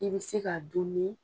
I bɛ se ka dun nin